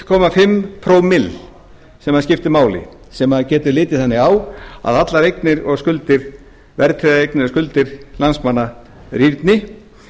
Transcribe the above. komma fimm prómill sem það skiptir máli sem maður getur litið þannig á að allar verðtryggðar eignir og skuldir landsmanna rýrni